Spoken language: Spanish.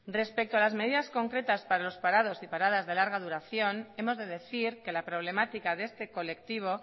respecto a las medidas concretas para los parados y paradas de larga duración hemos de decir que la problemática de este colectivo